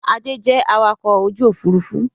Adé jẹ awakọ̀ ojú Òfurufú